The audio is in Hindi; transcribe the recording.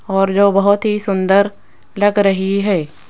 और जो बहुत ही सुंदर लग रही है।